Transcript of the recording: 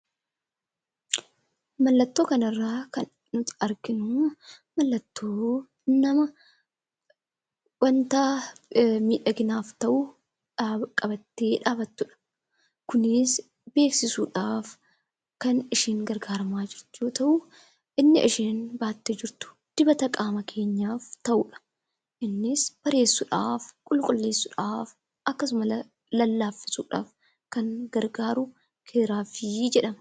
Mallattoo kanarraa kan nuti arginu mallattoo nama waanta miidhaginaaf ta'u qabattee dhaabattudha. Kunis beeksisuudhaaf kan isheen gargaaramaa jirtu yoo ta'u, inni isheen baattee jirtu dibata qaama keenyaaf ta'udha. Innis bareechuudhaaf, qulqulleessuudhaaf akkasumas illee lallaaffisuudhaaf kan gargaaru Keeraavii jedhama.